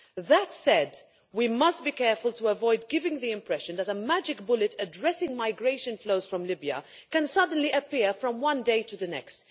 That said, we must be careful to avoid giving the impression that a magic bullet addressing migration flows from Libya can suddenly appear from one day to the next.